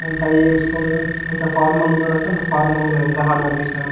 And tie వేసోకొని ఎంత formal గ ఉనాడు అంటే అంత ఫార్మల్ గ ఉనాడు. ఎంత హార్డవర్క్ చేసిన.